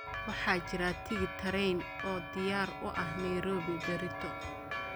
waxaa jira tigidh tareen oo diyaar u ah nairobi berrito